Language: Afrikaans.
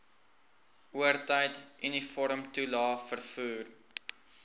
oortyd uniformtoelae vervoer